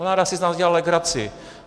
Vláda si z nás dělá legraci.